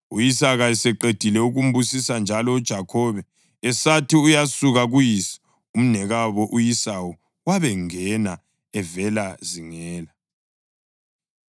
U-Isaka eseqedile ukumbusisa njalo uJakhobe esathi uyasuka kuyise, umnewabo u-Esawu wabengena evela zingela.